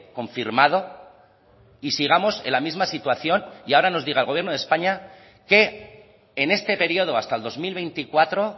confirmado y sigamos en la misma situación y ahora nos diga el gobierno de españa que en este periodo hasta el dos mil veinticuatro